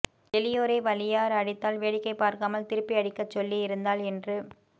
எலியோரை வலியார் அடித்தால் வேடிக்கை பார்க்காமல் திருப்பி அடிக்க சொல்லி இருந்தால் இன்று